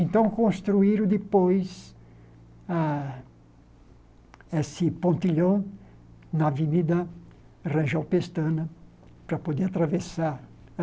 Então, construíram depois a esse pontilhão na avenida rangel pestana para poder atravessar.